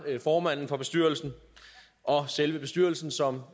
formanden for bestyrelsen og selve bestyrelsen som